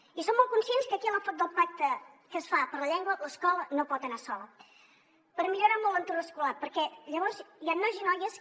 i som molt conscients que aquí en l’enfocament del pacte que es fa per la llengua l’escola no pot anar sola per millorar molt l’entorn escolar perquè llavors hi han nois i noies que